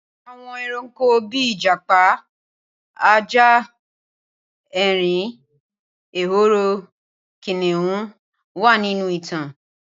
Awon eranko bi ijapa, aja, erin, ehoro, kiniun wa ninu itan.